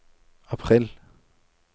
april